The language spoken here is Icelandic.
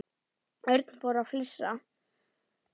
Örn fór að flissa.